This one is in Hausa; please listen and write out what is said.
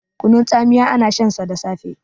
kunun tsamiya ana shansa da safe